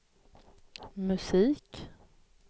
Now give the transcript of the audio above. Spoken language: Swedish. musik